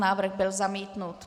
Návrh byl zamítnut.